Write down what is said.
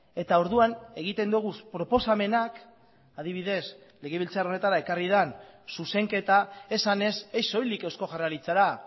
eta orduan egiten dugu proposamenak adibidez legebiltzar honetara ekarri den zuzenketa esanez ez soilik eusko jaurlaritzara